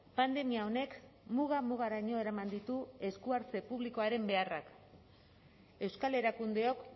pandemia honek muga mugaraino eraman ditu eskuhartze publikoaren beharrak euskal erakundeok